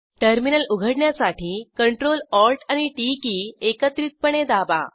terminal उघडण्यासाठी Ctrl Alt आणि T key एकत्रितपणे दाबा